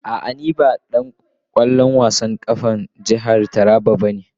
A'a, ni ba dan wasan kwallon kafa na jihar Taraba bane.